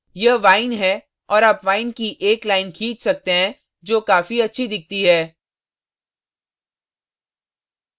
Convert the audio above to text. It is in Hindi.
यह vine है और आप vine की एक line खींच सकते हैं जो काफी अच्छी दिखती है